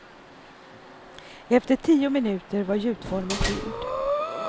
Efter tio minuter var gjutformen fylld.